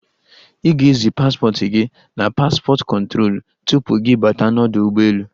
Ị ga-ezi paspọt gi n'paspọt kụtrolu tupu gị bata n'ọdụ ụgbọelu.